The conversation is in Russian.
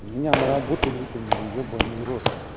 меня на работу выкинули ёбанный в рот